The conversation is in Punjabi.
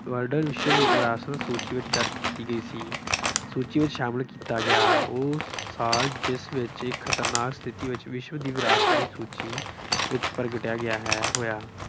ਇਹ world ਵਿਸ਼ਵ ਵਿਰਾਸਤ ਸੂਚੀ ਵਿੱਚ ਦਰਜ ਕੀਤੀ ਗਈ ਸੀ। ਸੂਚੀ ਵਿੱਚ ਸ਼ਾਮਿਲ ਕੀਤਾ ਗਿਆ ਉਹ ਸਾਲ ਜਿਸ ਵਿੱਚ ਇਹ ਖਤਰਨਾਕ ਸਥਿਤੀ ਵਿੱਚ ਵਿਸ਼ਵ ਦੀ ਵਿਰਾਸਤ ਦੀ ਸੂਚੀ ਵਿੱਚ ਪ੍ਰਗਟਿਆ ਗਿਆ ਹੈ ਹੋਇਆ